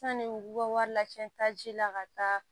Sani u ka wari lacɛn taa ji la ka taa